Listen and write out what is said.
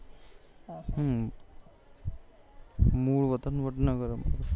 મૂળ વતન વડનગર અમારું